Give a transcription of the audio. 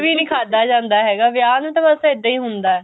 ਖਾਧਾ ਜਾਂਦਾ ਹੈਗਾ ਵਿਆਹ ਨੂੰ ਤਾਂ ਇੱਦਾਂ ਹੀ ਹੁੰਦਾ